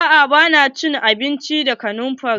A'a ba na abinci da kanumfari.